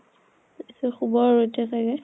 তাৰ পিছত শুব আৰু এতিয়া চাগে ।